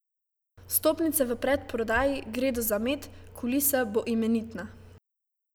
Vstopnice v predprodaji gredo za med, kulisa bo imenitna.